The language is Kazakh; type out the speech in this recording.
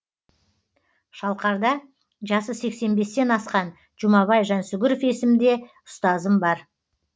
шалқарда жасы сексен бестен асқан жұмабай жансүгіров есімде ұстазым бар